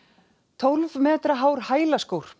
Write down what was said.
tólf metra hár